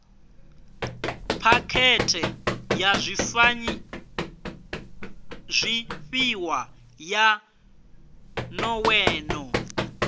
phakhethe ya zwifhiwa ya nḓowenḓowe